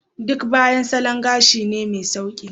Duk Baya salon gashi ne mai sauƙi.